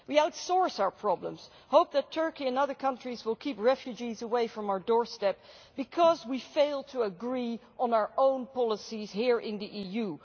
We outsource our problems, in the hope that Turkey and other countries will keep refugees away from our doorstep, because we failed to agree on our own policies here in the EU.